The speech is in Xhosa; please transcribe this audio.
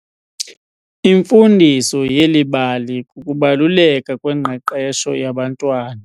Imfundiso yeli bali kukubaluleka kwengqeqesho yabantwana